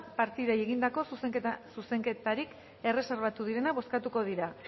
partidei egindako zuzenketarik erreserbatu direnak bozkatuko dira